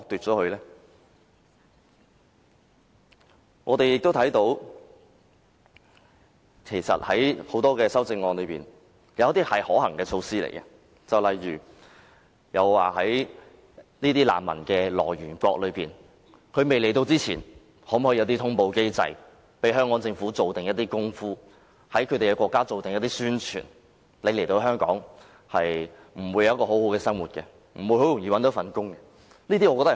在各項修正案中，其實不乏一些可行措施，例如在難民未來港之前，是否可和來源國建立通報機制，以便香港政府可及早先做一些工夫，在那些國家進行宣傳，告訴他們來港後不會獲得很好的生活，亦不容易找到工作？